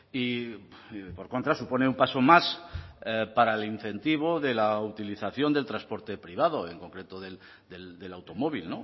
y por contra supone un paso más para el incentivo de la utilización del transporte privado en concreto del automóvil